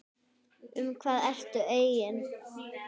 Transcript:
Um hvað ertu eigin